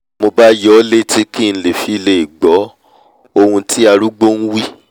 mo bá yọ ọ́ létí kí n fi lè gbọ́'hun tí arúgbó nwí